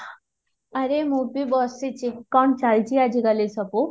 ଆରେ ମୁଁ ବି ବସିଛି କଣ ଚାଲିଛି ଆଜି କାଲି ସବୁ?